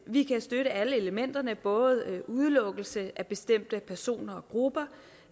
vi kan støtte alle elementerne både udelukkelse af bestemte personer og grupper